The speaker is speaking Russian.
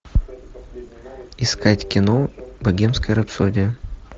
искать кино богемская рапсодия